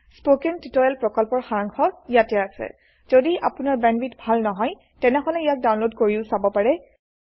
spoken tutorial প্ৰকল্পৰ সাৰাংশ ইয়াত আছে যদি আপোনাৰ বেণ্ডৱিডথ ভাল নহয় তেনেহলে ইয়াক ডাউনলোড কৰি চাব পাৰে